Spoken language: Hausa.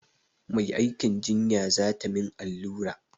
Mai aikin jinya za ta min allura.